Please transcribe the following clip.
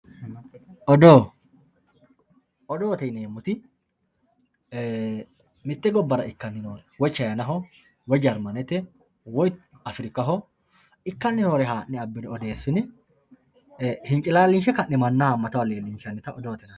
odoo odoote yineemmoti mitte gobbara ikkanni noore woy chinaho woy jarmanete woyi afirikaho ikkanni noore la'ne abbine odeessine hincilaalinshe ka'ne mannaho haammataho leellinshannita odoote yinanni.